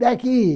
Daqui.